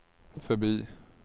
förbi